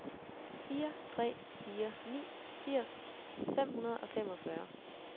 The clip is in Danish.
fire tre fire ni firs fem hundrede og femogfyrre